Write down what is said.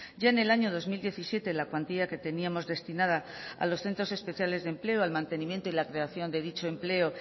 ya en el año dos mil diecisiete la cuantía que teníamos destinada a los centros especiales de empleo al mantenimiento y la creación de dicho empleo